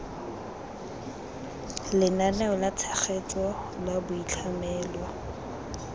lenaneo la tshegetso la boitlhamelo